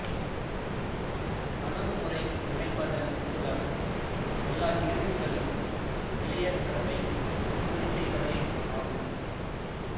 அணுகுமுறை இணைப்பதன் மூலம் எல்லாக் கிருமிகளின் வெளியேற்றத்தை உறுதி செய்வதே ஆகும்